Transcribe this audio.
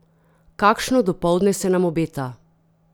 Kakšno dopoldne se nam obeta!